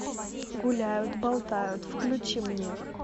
гуляют болтают включи мне